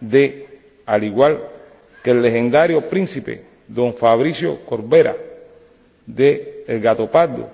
de, al igual que el legendario príncipe Don Fabrizio Corbera de El Gatopardo,